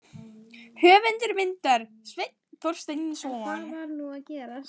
Höfundur myndar: Sveinn Þorsteinsson.